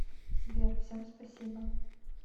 сбер всем спасибо